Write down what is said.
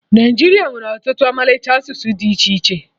Naịjiria nwere ọtụtụ ọmalịcha asụsụ dị iche iche